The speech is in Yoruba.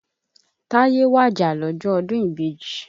Táyé wàjà lọ́jọ́ ọdún ìbejì.